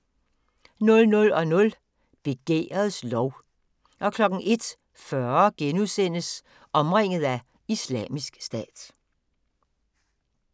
00:00: Begærets lov 01:40: Omringet af Islamisk Stat *